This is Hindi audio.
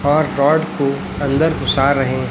और गार्ड को अंदर घुस रहे--